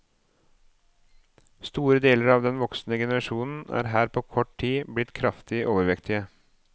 Store deler av den voksne generasjonen er her på kort tid blitt kraftig overvektige.